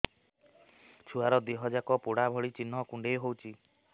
ଛୁଆର ଦିହ ଯାକ ପୋଡା ଭଳି ଚି଼ହ୍ନ କୁଣ୍ଡେଇ ହଉଛି